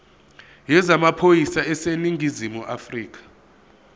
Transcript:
yezamaphoyisa aseningizimu afrika